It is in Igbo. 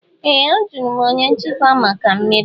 Ee! Ajụrụ m onye nchịkwa maka mmiri.